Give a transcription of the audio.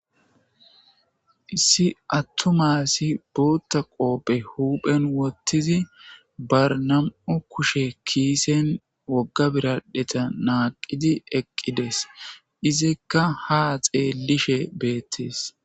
Issi attumasi buutta qoophe huuphen wottizi barnam,o kushe kiisen wogga biradheta naaqidi eqqides izikka ha xeellishe beettes.